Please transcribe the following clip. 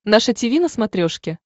наше тиви на смотрешке